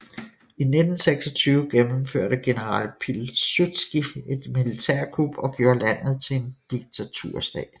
I 1926 gennemførte general Pilsudski et militærkup og gjorde landet til en diktaturstat